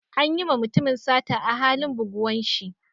An yi ma mutumin sata a halin buguwan shi.